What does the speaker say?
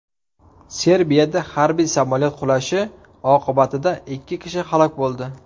Serbiyada harbiy samolyot qulashi oqibatida ikki kishi halok bo‘ldi.